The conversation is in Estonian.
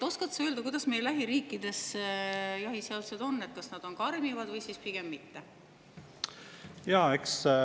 Oskad sa öelda, millised meie lähiriikide jahiseadused on, kas need on karmimad või pigem mitte?